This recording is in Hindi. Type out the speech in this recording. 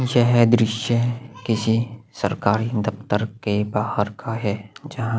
यह दृश्य किसी सरकारी दफ़्तर के बाहर का है जहाँ --